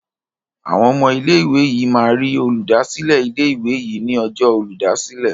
Awọn ọmọ ilé ìwé yí má rí Olùdásílẹ̀ ilé ìwé yí ní Ọjọ́ Olùdásílẹ̀.